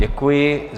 Děkuji.